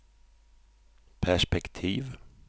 perspektiv